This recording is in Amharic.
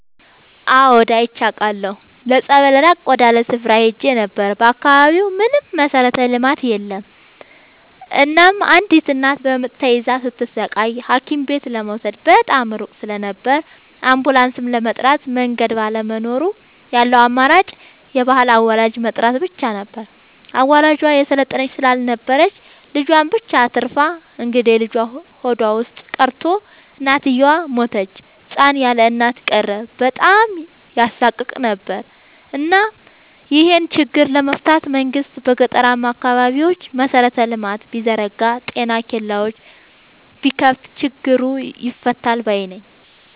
አዎድ አይቻለሁ ለፀበል ራቅ ወዳለ ስፍራ ሄጄ ነበር። በአካባቢው ምንም መሠረተ ልማት የለም እናም አንዲት እናት በምጥ ተይዛ ስትሰቃይ ሀኪምቤት ለመውሰድ በጣም ሩቅ ስለነበር አንቡላስም ለመጥራት መንገድ ባለመኖሩ ያለው አማራጭ የባህል አዋላጅ መጥራት ብቻ ነበር። አዋላጇ የሰለጠነች ስላልነበረች ልጁን ብቻ አትርፋ እንግዴልጁ ሆዷ ውስጥ ቀርቶ እናትየው ሞተች ህፃን ያለእናት ቀረ በጣም ያሳቅቅ ነበር እናም ይሄን ችግር ለመፍታት መንግስት በገጠራማ አካባቢዎች መሰረተ ልማት ቢዘረጋ ጤና ኬላዎችን ቢከፋት ችግሩ ይፈታል ባይነኝ።